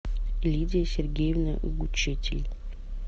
лидия сергеевна гучитель